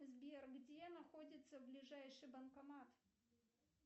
сбер где находится ближайший банкомат